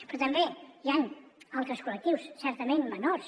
però també hi han altres col·lectius certament menors